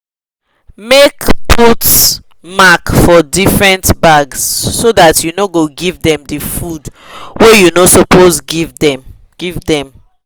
make put mark for different bag so that u no go give them the food wa you no suppose give them give them